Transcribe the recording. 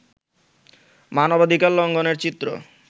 মানবাধিকার লঙ্ঘনের চিত্র